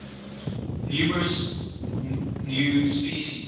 numerous new species